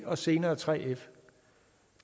og senere 3f